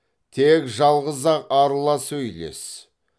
тек жалғыз ақ арыла сөйлес